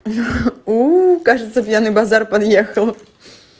уу кажется пьяный базар подъехал